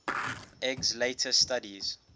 eggs later studies